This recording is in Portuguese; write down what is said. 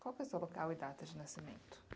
Qual é o seu local e data de nascimento?